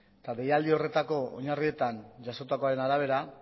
eta deialdi horretako oinarrietan jasotakoaren arabera